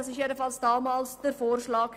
Dies war zumindest damals der Vorschlag.